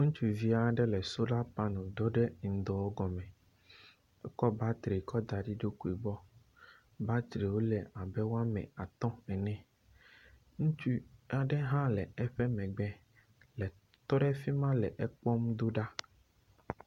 Ŋutsuvi aɖe le solar panel dɔ ɖe ŋdɔ gɔme. Ekɔ batterywo da ɖe eɖokui gbɔ. Battery wo le abe woame atɔ̃ ene, ŋutsu aɖe hã le eƒe megbe le…tɔ ɖe fi ma le ekpɔm do ɖa.